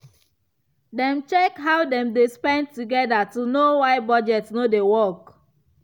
dem check how dem dey spend together to know why budget no dey work.